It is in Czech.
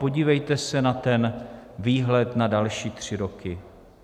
Podívejte se na ten výhled na další tři roky.